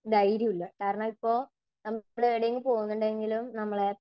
ധൈര്യമില്ല കാരണം ഇപ്പോ നമ്മൾ എവിടെയേലും പോകുന്നുണ്ടെങ്കിലും നമ്മളെ